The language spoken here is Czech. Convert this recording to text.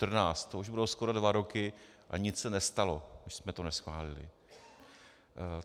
To už budou skoro dva roky a nic se nestalo, když jsme to neschválili.